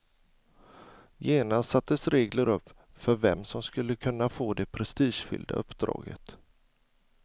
Genast sattes regler upp för vem som skulle kunna få det prestigefyllda uppdraget.